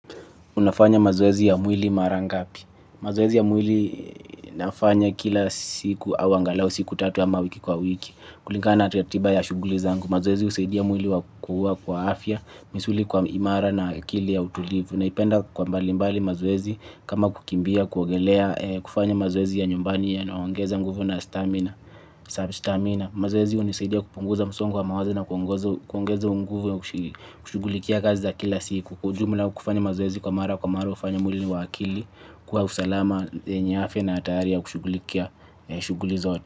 Unafanya mazoezi ya mwili mara ngapi. Mazoezi ya mwili nafanya kila siku au angalau siku tatu ama wiki kwa wiki. Kulingana ratiba ya shughuli zangu. Mazoezi husaidia mwili wa kukuwa kwa afya, misuli kwa imara na akili ya utulivu. Naipenda kwa mbali mbali mazoezi kama kukimbia, kuogelea, kufanya mazoezi ya nyumbani yanayo ongeza nguvu na stamina. Mazoezi hunisaidia kupunguza msongo wa mawazo na kuongeza nguvu ya kushughulikia kazi za kila siku. Kwa ujumla kufanya mazoezi kwa mara, kwa mara hufanya mwili ni wa akili. Kwa usalama, yenye afya na tayari ya kushugulikia, shughuli zote.